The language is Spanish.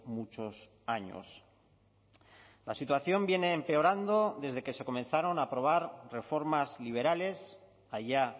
muchos años la situación viene empeorando desde que se comenzaron a aprobar reformas liberales allá